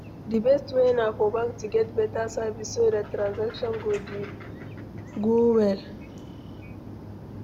Di best way na for bank to get better service so dat transaction go dey go well